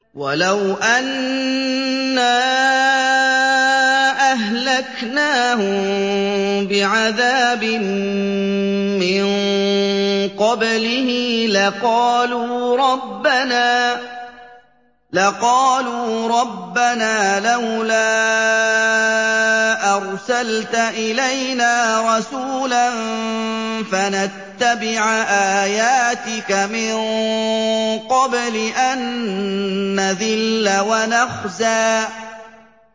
وَلَوْ أَنَّا أَهْلَكْنَاهُم بِعَذَابٍ مِّن قَبْلِهِ لَقَالُوا رَبَّنَا لَوْلَا أَرْسَلْتَ إِلَيْنَا رَسُولًا فَنَتَّبِعَ آيَاتِكَ مِن قَبْلِ أَن نَّذِلَّ وَنَخْزَىٰ